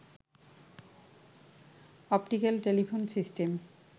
optical telephone system